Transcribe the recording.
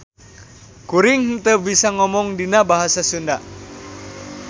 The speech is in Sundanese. Kuring henteu bisa ngomong dina Basa Sunda.